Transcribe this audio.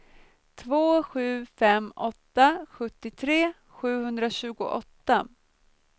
två sju fem åtta sjuttiotre sjuhundratjugoåtta